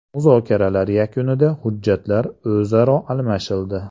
Muzokaralar yakunida hujjatlar o‘zaro almashildi.